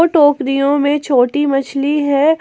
टोकरियों में छोटी मछली है।